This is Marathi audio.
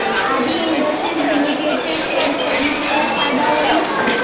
आदी इंडस्ट्रीज लिमिटेड चे शेअर कधी विकल्यास फायदा होईल